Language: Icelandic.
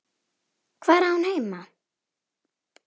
Hvar á hún heima?